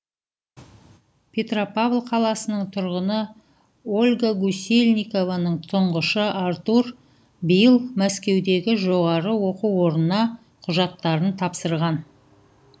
петропавл қаласының тұрғыны ольга гусельникованың тұңғышы артур биыл мәскеудегі жоғары оқу орнына құжаттарын тапсырған